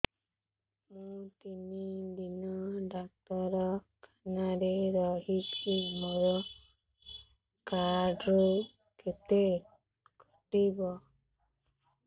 ମୁଁ ତିନି ଦିନ ଡାକ୍ତର ଖାନାରେ ରହିଛି ମୋର କାର୍ଡ ରୁ କେତେ କଟିବ